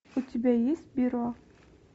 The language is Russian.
у тебя есть перо